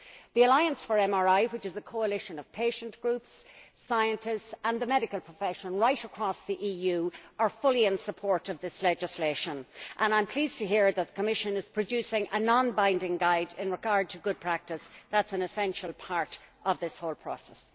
The Alliance for MRI, which is a coalition of patient groups, scientists and the medical profession right across the EU, is fully in support of this legislation, and I am pleased to hear that the Commission is producing a non binding guide in regard to good practice. That is an essential part of this whole process.